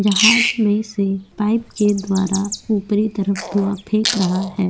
जहाज में से पाइप के द्वारा ऊपरी तरफ धुआ फेंक रहा है ।